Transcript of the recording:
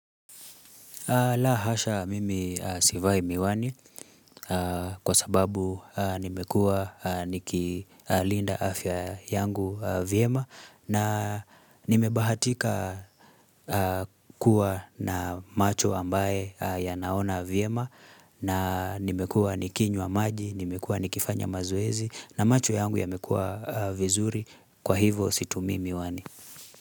La hasha mimi sivai miwani kwa sababu nimekua niki linda afya yangu vyema na nimebahatika kuwa na macho ambaye yanaona vyema na nimekua nikinywa maji, nimekua nikifanya mazowezi na macho yangu yamekua vizuri kwa hivo situmii Miwani.